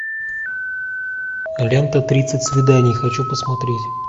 лента тридцать свиданий хочу посмотреть